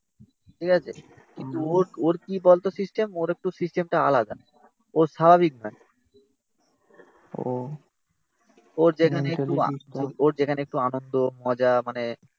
ঠিক আছে কিন্তু ওর ওর কি বলতো সিস্টেম, ওর একটু সিস্টেম টা আলাদা. ও স্বাভাবিক নয় ওর যেখানে ওর যেখানে একটু আনন্দ মজা, মানে